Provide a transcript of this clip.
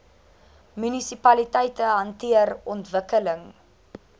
munisipaliteite hanteer ontwikkeling